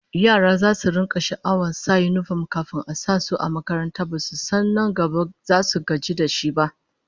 Yara zasu rika jin sha'awar sa yinifom kafin a sa su a makaranta, basu san nan gaba zasu zo su gaji da shi ba!